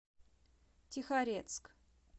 тихорецк